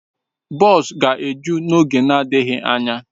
Bọs ga-eju n'oge na-adịghị anya.